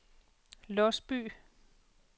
Låsby